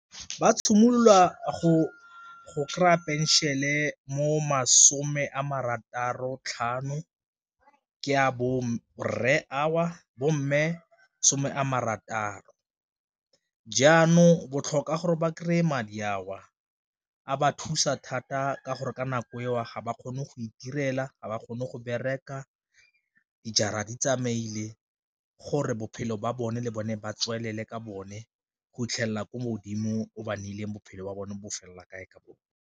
Ba tshimolola go kry-a phenšene mo masome a marataro tlhano ke a bo rre ao, bo mme some a marataro jaanong botlhokwa gore ba kry-e madi a o a ba thusa thata ka gore ka nako eo ga ba kgone go itirela, ga ba kgone go bereka dijara di tsamaile, gore bophelo ba bone le bone ba tswelele ka bone go itlhelela ko modimo o ba ne ileng bophelo ba bone bofelela kae ka bone.